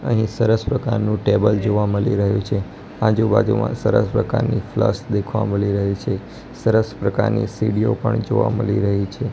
અહીં સરસ પ્રકારનુ ટેબલ જોવા મલી રહ્યુ છે આજુ-બાજુમાં સરસ પ્રકારની ફ્લસ દેખવા મલી રહી છે સરસ પ્રકારની સીડીઓ પણ જોવા મલી રહી છે.